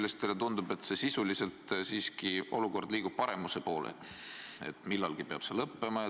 Nüüd teile tundub, et sisuliselt siiski olukord liigub paremuse poole ja millalgi peab see lõppema.